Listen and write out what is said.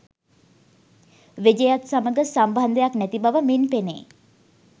විජයත් සමග සම්බන්ධයක් නැති බව මින් පෙනේ